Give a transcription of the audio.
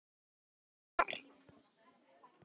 Kannski var